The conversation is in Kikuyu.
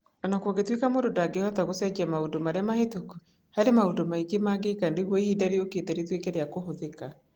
O na gũtuĩka mũndũ ndangĩhota gũcenjia maũndũ marĩa mahĩtũku, harĩ maũndũ maingĩ mangĩka nĩguo ihinda rĩũkĩte rĩtuĩke rĩa kũhũthĩka.